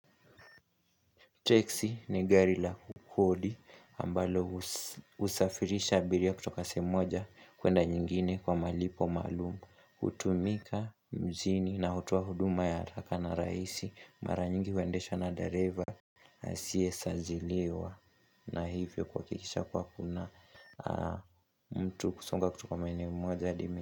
Teksi ni gari la kukodi ambalo husafirisha abiria kutoka sehemu moja kuenda nyingine kwa malipo maalum. Hutumika mjini na hutowa huduma ya haraka na rahisi mara nyingi huendesha na dareva. Asiye saziliwa na hivyo kuhakikisha kuwa kuna mtu kusonga kutoka maeneo moja hadi.